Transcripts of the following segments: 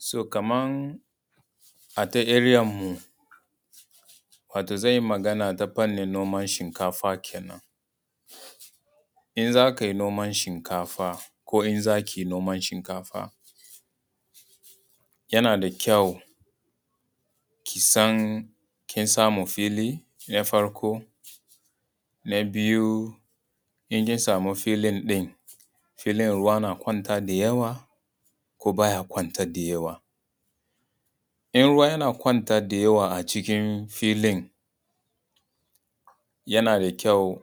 So kaman a ta area mu wato zan yi magana ta fannin noman shinkafa kenan. In za kai noman shinkafa, ko in za ki yi noman shinkafa yana da kyau ki san kin samu fili na farko. Na biyu in kin samu filin ɗin filin ruwa na kwanta da yawa ko baya kwanta da yawa. In ruwa yana kwanta da yawa a cikin filin yana da kyau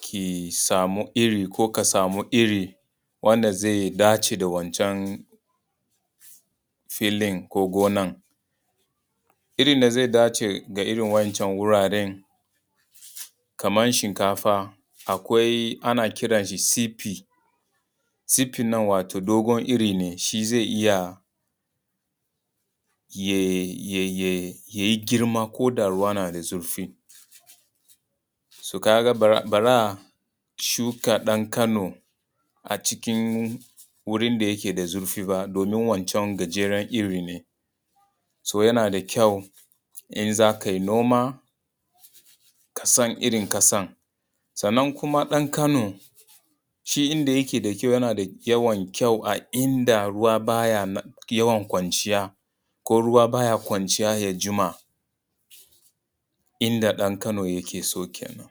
ki samu iri ko ka samu iri wainda zai dace da wancan filin ko gonan. Irin da zai dace da irin waɗancan wuraren kaman shinkafa akwai ana kiran shi CP, CP nan wato dogon iri ne shi zai iya yayi girma koda ruwa yana da zurfi, so ka ga ba za a shuka ɗan kano a wurin da yake da zurfi ba, domin wancan gajeran iri ne. So yana da kyau idan za kai noma ka san irin ƙasan, sannan kuma ɗan kano shi inda yake da kyau, yana da yawan kyau a inda ruwa baya yawan kwanciya, ko ruwa baya kwanciya ya jima. Inda ɗan kano yake so kenan.